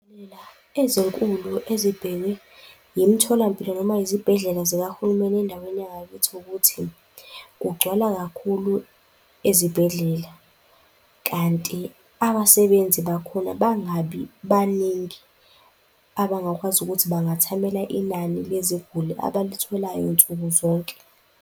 ezinkulu ezibhekwe y'mtholampilo noma izibhedlela zikahulumeni endaweni yangakithi, ukuthi kugcwala kakhulu ezibhedlela. Kanti abasebenzi bakhona bangabi baningi abangakwazi ukuthi bangathumela inani leziguli abalitholayo nsukuzonke.